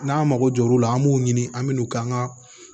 N'an mago jɔr'u la an b'u ɲini an me n'u ka an ka